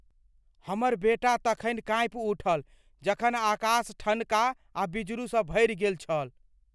हमर बेटा तखनि काँपि उठल जखन आकाश ठनका आ बिजुरीसँ भरि गेल छल।